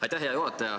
Aitäh, hea juhataja!